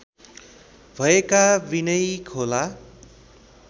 भएका विनयी खोला